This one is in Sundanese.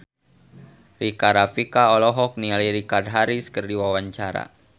Rika Rafika olohok ningali Richard Harris keur diwawancara